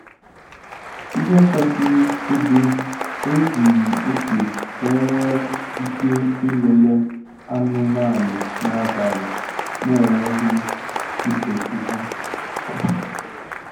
Ìhè kwesị ịdị ezughi oke ka e nwee ike ilele anụmanụ n'abalị na-enweghị ịdọpụ ha.